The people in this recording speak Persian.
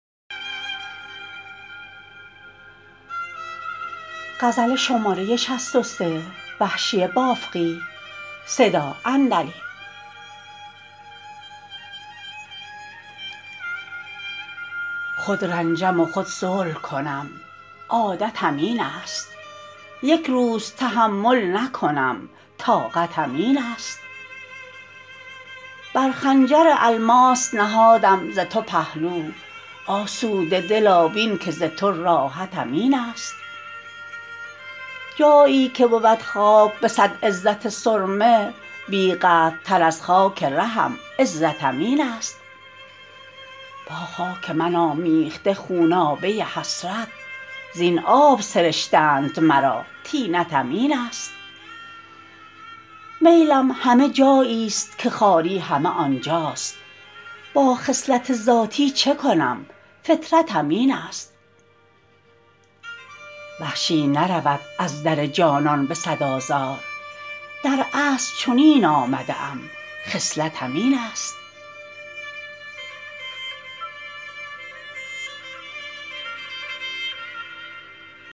خود رنجم و خود صلح کنم عادتم اینست یک روز تحمل نکنم طاقتم اینست بر خنجر الماس نهادم ز تو پهلو آسوده دلا بین که ز تو راحتم اینست جایی که بود خاک به سد عزت سرمه بیقدر تر از خاک رهم عزتم اینست با خاک من آمیخته خونابه حسرت زین آب سرشتند مرا طینتم اینست میلم همه جاییست که خواری همه آنجاست با خصلت ذاتی چه کنم فطرتم اینست وحشی نرود از در جانان به سد آزار در اصل چنین آمده ام خصلتم اینست